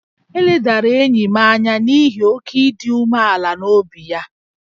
E ledara enyi m anya n’ihi oke ịdị umealan'obi ya